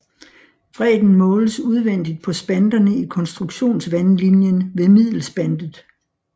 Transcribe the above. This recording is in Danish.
Bredden måles udvendigt på spanterne i konstruktionsvandlinjen ved middelspantet